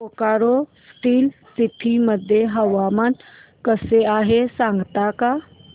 Bokaro Steel City मध्ये हवामान कसे आहे सांगता का